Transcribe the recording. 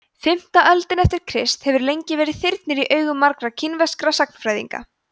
fimmta öldin eftir krist hefur lengi verið þyrnir í augum margra kínverskra sagnfræðinga